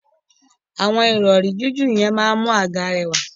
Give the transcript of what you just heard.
Ju irọri ṣe awọn ijoko lẹwa.